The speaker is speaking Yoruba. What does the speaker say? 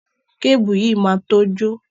Kébùù yìí máa to jó.